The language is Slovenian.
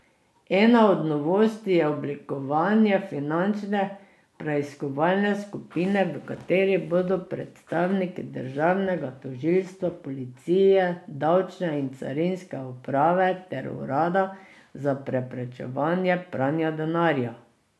Ena od novosti je oblikovanje finančne preiskovalne skupine, v kateri bodo predstavniki državnega tožilstva, policije, davčne in carinske uprave ter urada za preprečevanje pranja denarja.